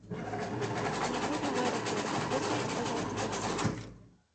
мне нужно в аэропорт вызовите пожалуйста такси